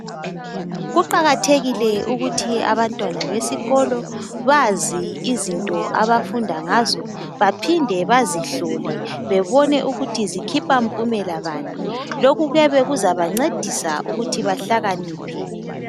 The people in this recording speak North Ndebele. Kuqakathekile ukuthi abantwana besikolo bazi izinto abafunda ngazo baphinde bazihlole bebone ukuthi zikhipha mpumela bani .Lokhu kuyabe kuzaba ncedisa ukuthi bahlakaniphe .